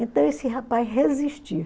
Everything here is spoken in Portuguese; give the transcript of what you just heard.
Então esse rapaz resistia.